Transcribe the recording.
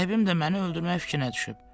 Sahibim də məni öldürmək fikrinə düşüb.